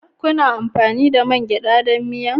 Kuna amfani da man geɗa don miya?